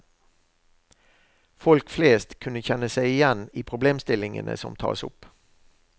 Folk flest skal kunne kjenne seg igjen i problemstillingene som tas opp.